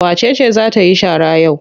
Wace ce za ta yi shara yau?